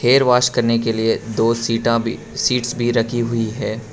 Hair wash करने के लिए दो सीटा भी सीट्स भी रखी हुई है।